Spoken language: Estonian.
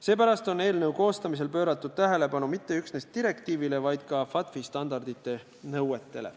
Seepärast ei ole eelnõu koostamisel pööratud tähelepanu mitte üksnes direktiivile, vaid ka FATF-i standardite nõuetele.